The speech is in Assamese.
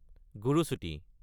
গুৰচুটি